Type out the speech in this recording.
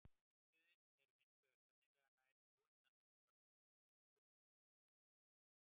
Litbrigðin eru hins vegar sennilega nær óendanlega mörg, stundum í sama steininum.